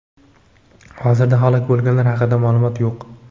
Hozirda halok bo‘lganlar haqida maʼlumot yo‘q.